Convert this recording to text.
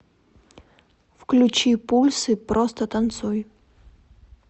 включи пульсы просто танцуй